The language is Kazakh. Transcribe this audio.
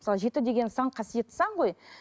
мысалы жеті деген сан қасиетті сан ғой